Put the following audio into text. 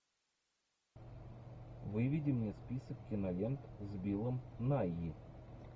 выведи мне список кинолент с биллом найи